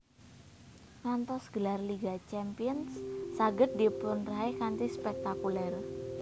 Ngantos gelar Liga Champions saged dipunraih kanthi spektakuler